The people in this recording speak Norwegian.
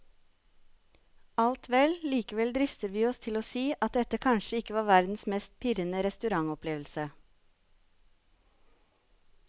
Alt vel, likevel drister vi oss til å si at dette kanskje ikke var verdens mest pirrende restaurantopplevelse.